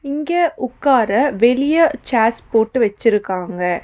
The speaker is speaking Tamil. இங்க உக்கார வெளியே சேர்ஸ் போட்டு வெச்சிருக்காங்க.